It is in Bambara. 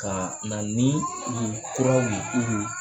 Ka na ni kuraw ye